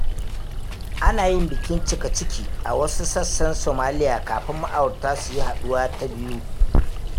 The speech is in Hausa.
Ana yin bikin cika-ciki a wasu sassan Somalia kafin ma'aurata su yi haɗuwa ta biyu.